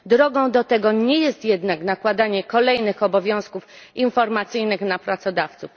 Drogą do tego nie jest jednak nakładanie kolejnych obowiązków informacyjnych na pracodawców.